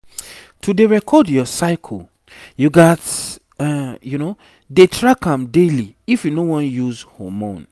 to dey record your cycle you gats dey track am daily if you no won use hormone